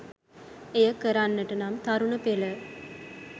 එය කරන්නට නම් තරුණ පෙළ